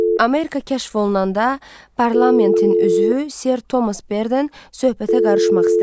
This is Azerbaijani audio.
Amerika kəşf olunanda, parlamentin üzvü Sir Thomas Berden söhbətə qarışmaq istədi.